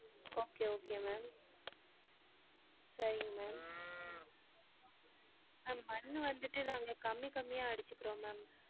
Okay okay ma'am சரிங்க ma'am ma'am மண்ணு வந்துட்டு நாங்க கம்மி கம்மியா அடிச்சிகிறோம் ma'am